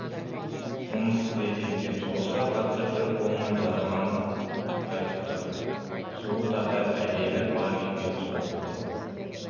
жұмыс істейді екен соғысқа қатысып бір қолынан жараланып қайтыпты сұлу татар әйелі бар екен сұлулықтың